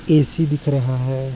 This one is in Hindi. ए.सी दिख रहा है।